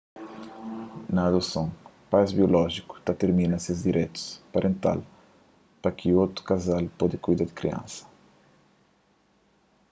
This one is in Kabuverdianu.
na un adoson pais biolójiku ta tirmina ses direitus parental pa ki otu kazal pode kuida di kriansa